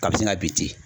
Ka bi sina bi ten